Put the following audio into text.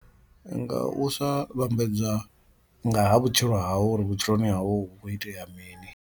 Nga u sa vhambedza nga ha vhutshilo hau uri vhutshiloni hawu hu khou itea mini.